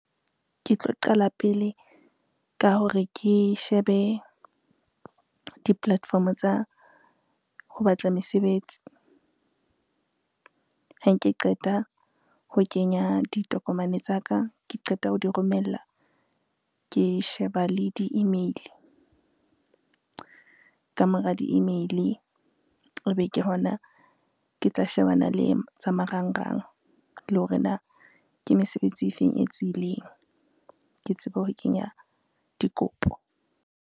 Ke tlo qala pele ka hore ke shebe di-platform tsa ho batla mesebetsi. Ha nke qeta ho kenya ditokomane tsa ka, ke qeta ho di romella, ke sheba le di-email, ka mora di-email ebe ke hona ke tla shebana le tsa marangrang, le hore na ke mesebetsi e feng e tswileng. Ke tsebe ho kenya dikopo.